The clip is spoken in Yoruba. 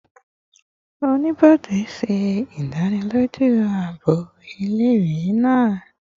Onibode ṣe idaniloju aabo ile-iwe naa